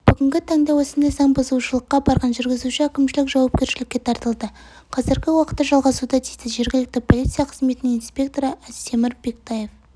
бүгінгі таңда осындай заң бұзушылыққа барған жүргізуші әкімшілік жауапкершілікке тартылды қазіргі уақытта жалғасуда дейді жергілікті полиция қызметінің инспекторы астемір бектаев